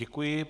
Děkuji.